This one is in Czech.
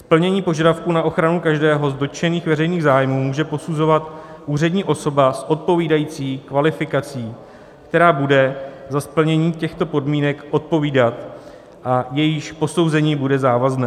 Splnění požadavků na ochranu každého z dotčených veřejných zájmů může posuzovat úřední osoba s odpovídající kvalifikací, která bude za splnění těchto podmínek odpovídat a jejíž posouzení bude závazné.